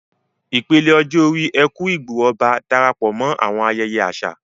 Ìpele ọjọ́ orí "Eku-Igbo-Oba" Darapọ̀ mọ́ àwọn ayẹyẹ àṣà